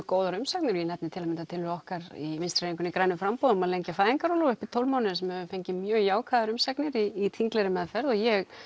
góðar umsagnir og ég nefni til að mynda tillögu okkar í Vinstri hreyfingunni grænu framboði um að lengja fæðingarorlofið upp í tólf mánuði sem hefur fengið mjög jákvæðar umsagnir í þinglegri meðferð og ég